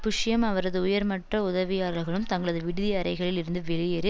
புஷ்ஷும் அவரது உயர்மட்ட உதவியாளர்களும் தங்களது விடுதி அறைகளில் இருந்து வெளியேறி